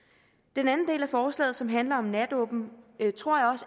den anden del af forslaget som handler om natåbent tror